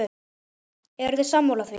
Eruð þið sammála því?